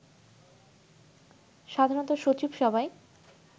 সাধারণত সচিব সভায়